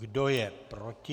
Kdo je proti?